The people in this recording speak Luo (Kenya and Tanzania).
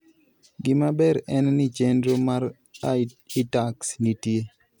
Gimaber en ni, chenro mar iTax nitie.